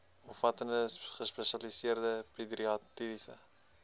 omvattende gespesialiseerde pediatriese